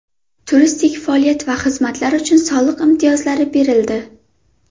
Turistik faoliyat va xizmatlar uchun soliq imtiyozlari berildi.